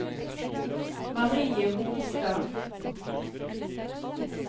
Marie Holstad